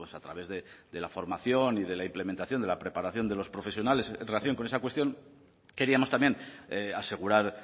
a través de la formación y de la implementación de la preparación de los profesionales en relación con esa cuestión queríamos también asegurar